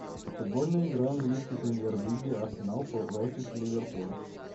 футбольная игра английской премьер лиги арсенал против ливерпуль